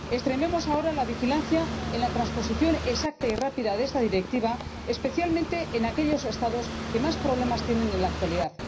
Extrememos ahora la vigilancia en la transposición exacta y rápida de esta Directiva, especialmente en aquellos Estados que más problemas tienen en la actualidad.